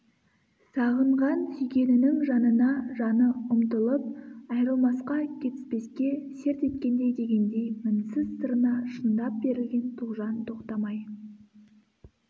сағынған сүйгенінің жанына жаны ұмтылып айрылмасқа кетіспеске серт еткендей дегендей мінсіз сырына шындап берілген тоғжан тоқтамай